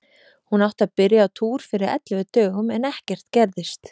Hún átti að byrja á túr fyrir ellefu dögum, en ekkert gerðist.